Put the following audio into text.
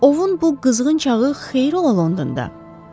Ovun bu qızğın çağı xeyri ola Londonda.